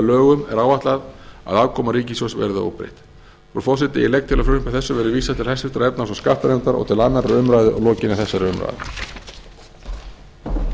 lögum er áætlað að afkoma ríkissjóðs verði óbreytt frú forseti ég legg til að frumvarpi þessu verði vísað til háttvirtrar efnahags og skattanefndar og til annarrar umræðu að lokinni þessari umræðu